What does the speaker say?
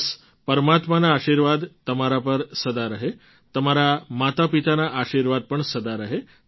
બસ પરમાત્માના આશીર્વાદ તમારા પર સદા રહે તમારાં માતાપિતાના આશીર્વાદ પણ સદા રહે